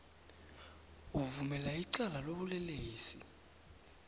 uvumela icala lobulelesi